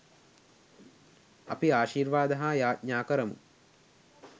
අපි ආශීර්වාද හා යාඥා කරමු